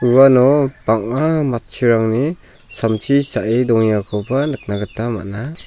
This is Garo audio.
uano bang·a matchurangni samsi cha·e dongengakoba nikna gita man·a.